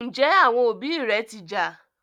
Njé àwọn òbí ré ti ja?